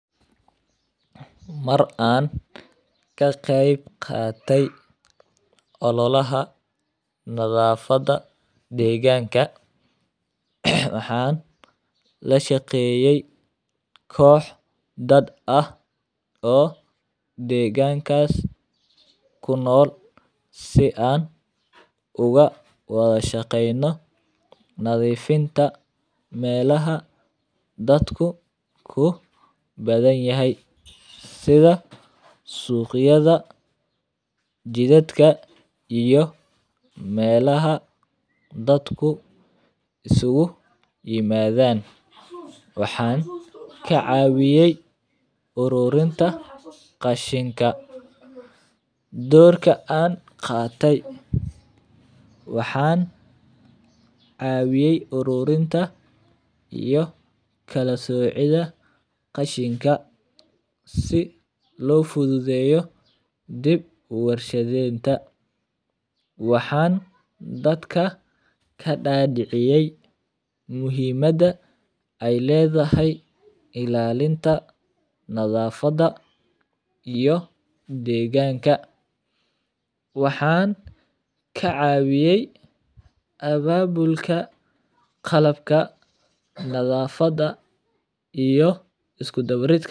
Mar an ka qeb qate ololaha deganka waxaa lashaqeyey kox dad ah oo kunol si an uga wadha shaqeno nadhifinta melaha dadka ku badan yahay sidha suqyaada jidadka iyo meelaha isugu imadhan ururinta qashinka waxan cawiyey ururinta qashinka si lo fududeyo, waxan dadka kadadiciyey muhiimada ee ledhahay ilalinta nadhafaada iyo deganka waxan ka cawiyey ababulka qalabka nadhafaada iyo isku dawaridka.